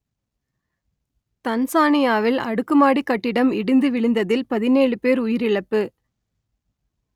தன்சானியாவில் அடுக்கு மாடிக் கட்டடம் இடிந்து வீழ்ந்ததில் பதினேழு பேர் உயிரிழப்பு